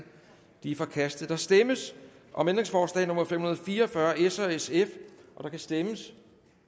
det er forkastet der stemmes om ændringsforslag nummer fem hundrede og fire og fyrre af s og sf der kan stemmes